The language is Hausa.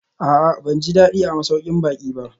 A'a, ban ji daɗi a masaukin baƙi ba